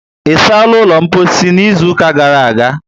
Ịsala ụlọ mposi n'izuka gara aga?